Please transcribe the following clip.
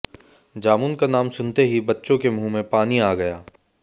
जामुन का नाम सुनते ही बच्चों के मुंह में पानी आ गया